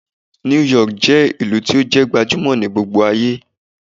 New York je ìlú to jẹ́ gbajumo ni gbogbo aye